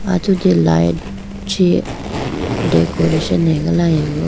atudi light chee decoration agalayibo.